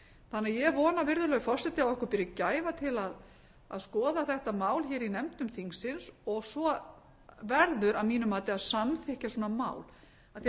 þannig að ég vona virðulegur forseti að okkur beri gæfa til að skoða þetta mál hér í nefndum þingsins og svo verður að mínu mati að samþykkja svona mál af því